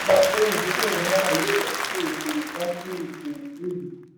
ó mẹ́nu bà pé ìdókòwò náírà yóò já sí òdo já sí òdo lójijì.